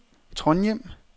Trondhjem